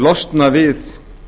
losna við